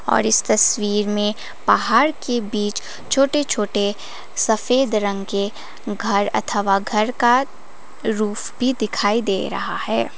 और इस तस्वीर में पहाड़ के बीच छोटे छोटे सफेद रंग के घर अथवा घर का रूफ भी दिखाई दे रहा है।